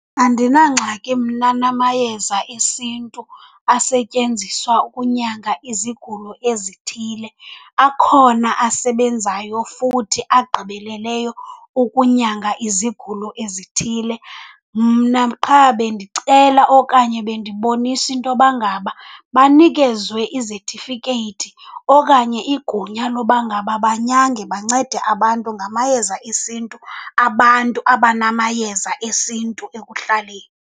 Andinangxaki mna namayeza esintu asetyenziswa ukunyanga izigulo ezithile, akhona asebenzayo futhi agqibeleleyo ukunyanga izigulo ezithile. Mna qha bendicela okanye bendibonisa intoba ngaba banikezwe izetifikeyiti okanye igunya loba ngaba banyange bancede abantu ngamayeza esintu abantu abanamayeza esintu ekuhlaleni.